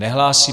Nehlásí.